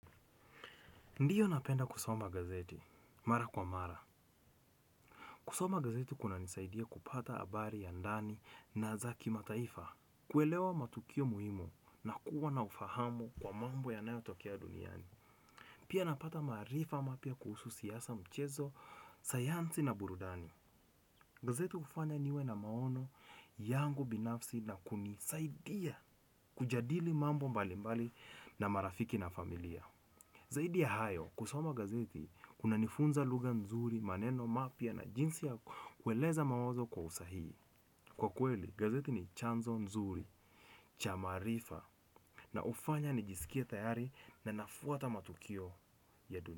Ndiyo napenda kusoma gazeti, mara kwa mara. Kusoma gazeti kuna nisaidia kupata abari ya ndani na za kimataifa, kuelewa matukio muhimu na kuwa na ufahamu kwa mambo yanayotokea duniani. Pia napata maarifa mapya kuhusu siasa, mchezo, sayansi na burudani. Gazeti ufanya niwe na maono yangu binafsi na kunisaidia kujadili mambo mbalimbali na marafiki na familia. Zaidi ya hayo, kusoma gazeti, unanifunza lugha mzuri, maneno mapya na jinsi ya kueleza mawazo kwa usahii. Kwa kweli, gazeti ni chanzo nzuri, cha maarifa na ufanya nijisikie tayari na nafuata matukio ya duni.